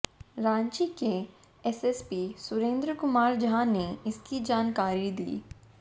रांची के एसएसपी सुरेंद्र कुमार झा ने इसकी जानकारी दी